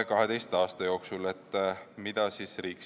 Mida riik kavatseb ette võtta?